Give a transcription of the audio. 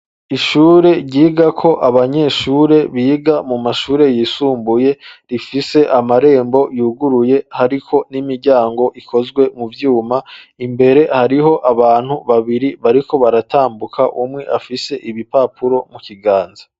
Ishure ryigako abanyeshure biga mu mashure yisumbuye rifise amarembo yuguruye hariko n'imiryango ikozwe mu vyuma imbere hariho abantu babiri bariko baratambuka umwe afise ibipapuro mu kiganza.